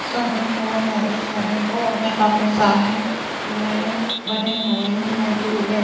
swimming pool है ये swimming pool में काफी सारे अरे बने हुए हैं झूले--